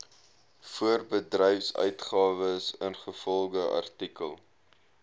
voorbedryfsuitgawes ingevolge artikel